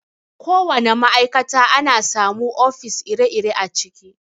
Ko wana ma'aikata ana samu ofis ire-ire a ciki.